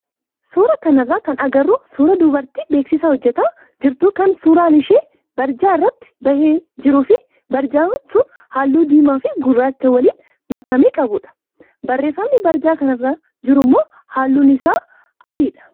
Suuraa kanarraa kan agarru suuraa dubartii beeksisa hojjataa jirtu kan suuraan ishee barjaa irratti bahee jiruu fi barjaan sun halluu diimaa fi gurraacha waliin makame qabudha. Barreeffamni barjaa kanarra jirummoo halluun isaa adiidha.